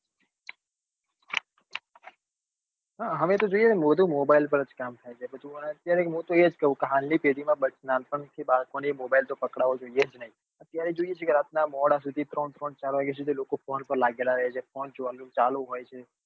હા હવે તો જોઈએ બધું mobile પર જ કામ થાય છે અત્યારે હું તો એ જ કઉં છે હાલ ની પેઢી નાં નાનપણ થી બાળકો ને mobile તો પકડવો જ નઈ. અત્યારે જોઈએ છીએ રાતના મોડા સુધી ત્રણ ત્રણ ચાર વાગ્યા સુધી લોકો phone પર લાગેલા જ રે છે phone ચાલુ હોય છે